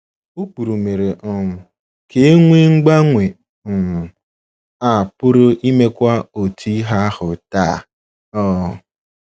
Ụkpụrụ mere um ka e nwee mgbanwe um a pụrụ imekwa otu ihe ahụ taa um.